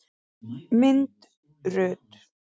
Mynd Rut.